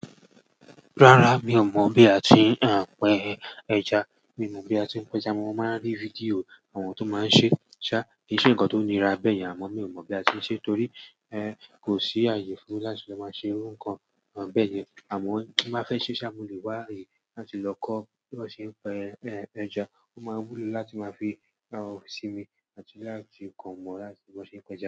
Rárá mi ò mọ̀ bí a ti ń pẹ ẹja, mi mọ̀ bí a ti ń pa eja Mo máa ń rí fídíò àwọn tó máa ń ṣe. Ṣá kì í ṣe nǹkan tó nira bẹ́ẹ̀ yẹn àmọ́ mi ò mọ̀ bí a ti ń ṣe torí ẹ kó sí àyè fún láti ṣe máa ṣe nǹkan bẹ́ẹ̀ yẹn àmọ́ bí mo fẹ ṣe ṣá mo lè wá aye áti lọ kọ́ bí wọ́n ṣe ń pẹ eja. Ó máa wúlò láti máa fi sinmi àti láti kàn mọ̀n bí wọ́n ṣe ń pẹ ẹja.